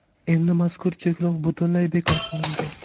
Endi mazkur cheklov butunlay bekor qilindi.